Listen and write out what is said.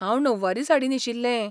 हांव णववारी साडी न्हेशिल्लें.